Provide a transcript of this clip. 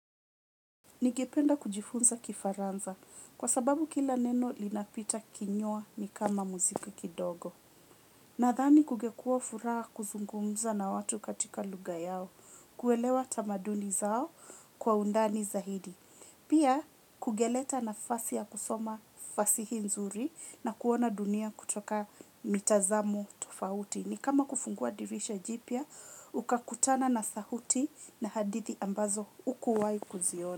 Ningependa kujifunza kifaransa kwa sababu kila neno linapita kinywa ni kama muziki kidogo. Nadhani kungekua furaha kuzungumza na watu katika lugha yao, kuelewa tamaduni zao kwa undani zaidi. Pia kungeleta nafasi ya kusoma fasihi nzuri na kuona dunia kutoka mitazamo tofauti. Ni kama kufungua dirisha jipya, ukakutana na sauti na hadithi ambazo hukuwai kuziona.